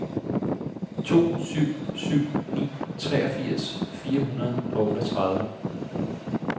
to syv syv ni treogfirs fire hundrede og otteogtredive